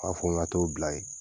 A b'a fɔ n t'ɔ bila yen